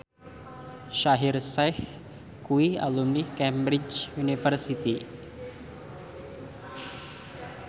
Shaheer Sheikh kuwi alumni Cambridge University